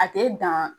A tɛ dan